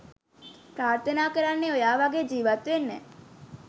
ප්‍රාර්ථනා කරන්නෙ ඔයා වගේ ජීවත් වෙන්න.